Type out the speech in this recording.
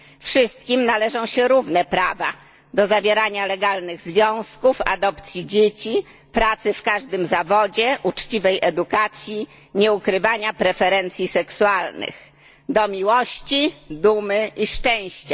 Wszystkim należą się równe prawa do zawierania legalnych związków, adopcji dzieci, pracy w każdym zawodzie, uczciwej edukacji, nieukrywania preferencji seksualnych, prawo do miłości, dumy i szczęścia.